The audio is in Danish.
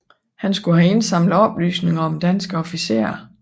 Han skulle have indsamlet oplysninger om danske officerer